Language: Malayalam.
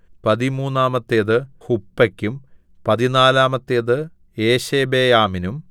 പതിമൂന്നാമത്തേത് ഹുപ്പെക്കും പതിനാലാമത്തേത് യേശെബെയാമിനും